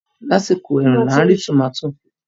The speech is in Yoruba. Lásìkò ẹ̀rùn la rí tòmátì